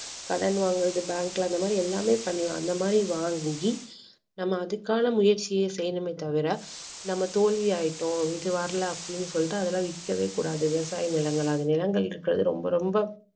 கடன் வாங்குறது bank ல அந்தமாதிரி எல்லாமே பண்ணலாம் அந்த மாதிரி வாங்கி நம்ம அதுக்கான முயற்சியை செய்யணுமே தவிர நம்ம தோல்வி ஆயிட்டோம் இது வரல அப்படீன்னு சொல்லிட்டு அதெல்லாம் விற்கவே கூடாது விவசாய நிலங்களாக நிலங்கள் இருக்கிறது ரொம்ப ரொம்ப